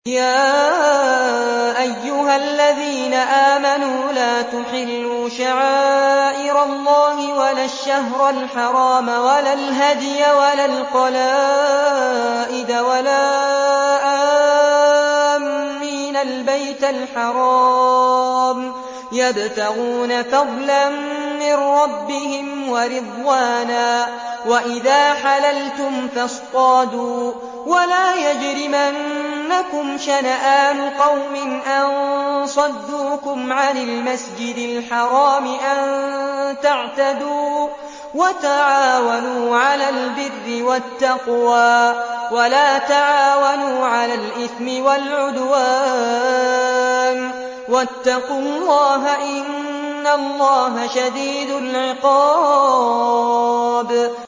يَا أَيُّهَا الَّذِينَ آمَنُوا لَا تُحِلُّوا شَعَائِرَ اللَّهِ وَلَا الشَّهْرَ الْحَرَامَ وَلَا الْهَدْيَ وَلَا الْقَلَائِدَ وَلَا آمِّينَ الْبَيْتَ الْحَرَامَ يَبْتَغُونَ فَضْلًا مِّن رَّبِّهِمْ وَرِضْوَانًا ۚ وَإِذَا حَلَلْتُمْ فَاصْطَادُوا ۚ وَلَا يَجْرِمَنَّكُمْ شَنَآنُ قَوْمٍ أَن صَدُّوكُمْ عَنِ الْمَسْجِدِ الْحَرَامِ أَن تَعْتَدُوا ۘ وَتَعَاوَنُوا عَلَى الْبِرِّ وَالتَّقْوَىٰ ۖ وَلَا تَعَاوَنُوا عَلَى الْإِثْمِ وَالْعُدْوَانِ ۚ وَاتَّقُوا اللَّهَ ۖ إِنَّ اللَّهَ شَدِيدُ الْعِقَابِ